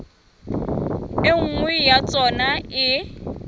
e nngwe ya tsona e